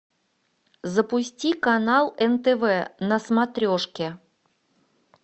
запусти канал нтв на смотрешке